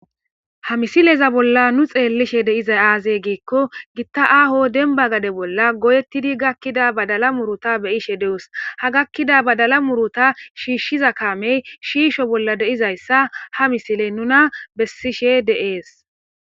ha misileza bolla nu xeellishe deizay aazey giikko gitta aaho denba gade bolla goyettidi gakkida badala muruta beyishe deus ha gakkida badala muruta shiishshiza kaamey shiisho bolla de7izayssa ha misiley nuna bessishe de7ees